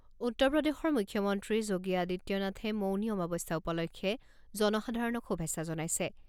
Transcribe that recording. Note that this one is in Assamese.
উত্তৰ প্ৰদেশৰ মুখ্যমন্ত্ৰী যোগী আদিত্যনাথে মৌনী অমাৱস্যা উপলক্ষে জনসাধাৰণক শুভেচ্ছা জনাইছে।